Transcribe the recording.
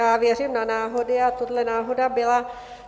Já věřím na náhody a tohle náhoda byla.